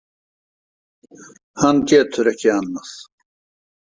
Hann getur ekki annað.